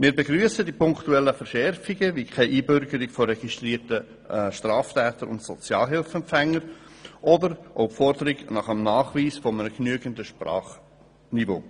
Wir begrüssen die punktuellen Verschärfungen wie keine Einbürgerung registrierter Straftäter und Sozialhilfeempfänger oder auch die Forderung zum Nachweis eines genügenden Sprachniveaus.